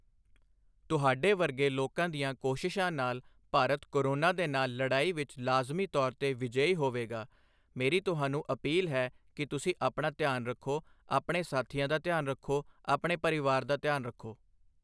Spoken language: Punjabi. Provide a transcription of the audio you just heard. ਤੁਹਾਡੇ ਵਰਗੇ ਲੋਕਾਂ ਦੀਆਂ ਕੋਸ਼ਿਸ਼ਾਂ ਨਾਲ ਭਾਰਤ ਕੋਰੋਨਾ ਦੇ ਨਾਲ ਲੜਾਈ ਵਿੱਚ ਲਾਜ਼ਮੀ ਤੌਰ ਤੇ ਵਿਜੇਯੀ ਹੋਵੇਗਾ, ਮੇਰੀ ਤੁਹਾਨੂੰ ਅਪੀਲ ਹੈ ਕਿ ਤੁਸੀਂ ਆਪਣਾ ਧਿਆਨ ਰੱਖੋ, ਆਪਣੇ ਸਾਥੀਆਂ ਦਾ ਧਿਆਨ ਰੱਖੋ, ਆਪਣੇ ਪਰਿਵਾਰ ਦਾ ਧਿਆਨ ਰੱਖੋ।